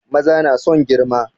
Maza na son girma